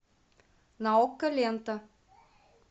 на окко лента